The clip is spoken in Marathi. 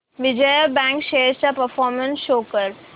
विजया बँक शेअर्स चा परफॉर्मन्स शो कर